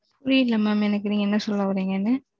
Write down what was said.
புரியவில்லை மாம் நீங்க என்ன சொல்ல வரீங்க?